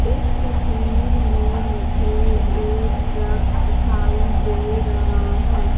इस तस्वीर में मुझे एक ट्रक दिखाई दे रहा हैं।